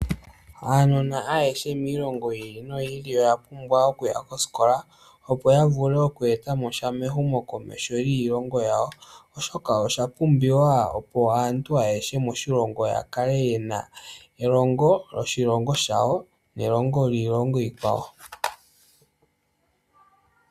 Aanona ayehe miilongo yili noyi ili oya pumbwa okuya koskola, opo ya vule okweetamo sha mehumokomeho lyiilongo yawo, oshoka osha pumbiwa opo aantu ayehe moshilongo ya kale yena elongo lyoshilongo shawo nelongo lyiilongo iikwawo.